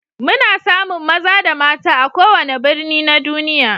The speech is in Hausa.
Muna samun maza da mata a kowane birni na duniya.